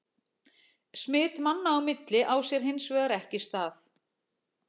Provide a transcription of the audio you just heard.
Smit manna á milli á sér hins vegar ekki stað.